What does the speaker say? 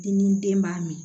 Dimi den b'a min